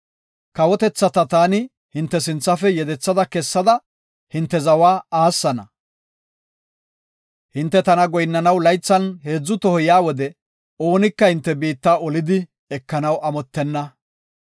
Kawotethata taani hinte sinthafe yedetha kessada hinte zawa aassana. Hinte tana goyinnanaw laythan heedzu toho yaa wode, oonika hinte biitta olidi ekanaw amottenna.